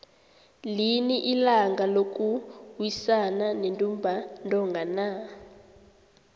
lini ilanga lokuwisana nentumba ntonga na